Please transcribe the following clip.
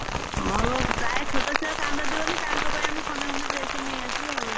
ହଁ ଆଉ ପ୍ରାୟ ଛୋଟ ଛୁଆ କାନ୍ଦନ୍ତି ବୋଲି ତାଙ୍କ ପାଇଁ ଆମେ ଖଣ୍ଡେ ଖଣ୍ଡେ dress ନେଇଆସୁ ଆଉ।